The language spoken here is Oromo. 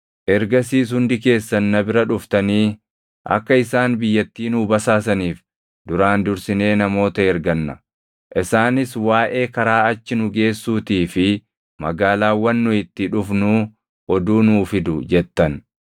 Ergasiis hundi keessan na bira dhuftanii, “Akka isaan biyyattii nuu basaasaniif duraan dursinee namoota erganna; isaanis waaʼee karaa achi nu geessuutii fi magaalaawwan nu itti dhufnuu oduu nuu fidu” jettan.